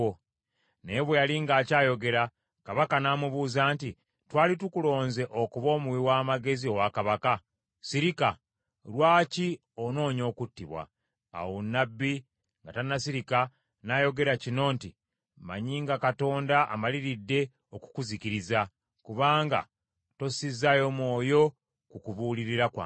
Naye bwe yali ng’akyayogera, kabaka n’amubuuza nti, “Twali tukulonze okuba omuwi wa magezi owa kabaka? Sirika! Lwaki onoonya okuttibwa?” Awo nnabbi nga tannasirika, n’ayogera kino nti, “Mmanyi nga Katonda amaliridde okukuzikiriza, kubanga tossizaayo mwoyo ku kubuulirira kwange.”